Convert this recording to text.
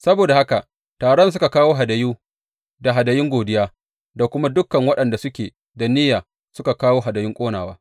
Saboda haka taron suka kawo hadayu da hadayun godiya, da kuma dukan waɗanda suke da niyya suka kawo hadayun ƙonawa.